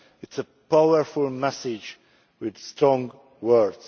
It is a powerful message with strong words.